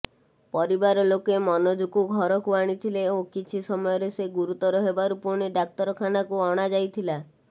ପରିବାର ଲୋକେ ମନୋଜକୁ ଘରକୁ ଆଣିଥିଲେ ଓ କିଛି ସମୟରେ ସେ ଗୁରୁତର ହେବାରୁ ପୁଣି ଡାକ୍ତରଖାନାକୁ ଅଣାଯାଇଥିଲା